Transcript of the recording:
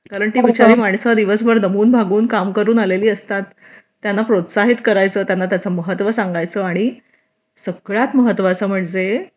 कारण ती बिचारी माणसं दिवसभर दमून भागून काम करून आलेली असतात त्यांना प्रोत्साहित करायचं त्यांना त्याचे महत्त्व सांगायचं आणि सगळ्यात महत्त्वाचं म्हणजे